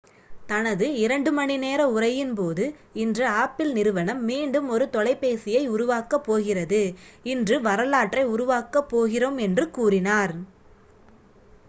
"தனது 2 மணி நேர உரையின் போது ​​""இன்று ஆப்பிள் நிறுவனம் மீண்டும் ஒரு தொலைபேசியை உருவாக்கப் போகிறது இன்று வரலாற்றை உருவாக்கப் போகிறோம்" என்று கூறினார்.